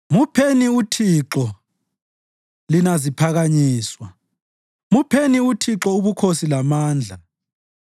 Mupheni uThixo, lina ziphakanyiswa, mupheni uThixo ubukhosi lamandla.